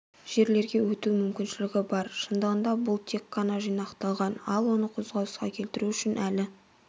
жерлерге өту мүмкіншілігі бар шындығында бұл тек қана жинақталған ал оны қозғалысқа келтіру үшін әлі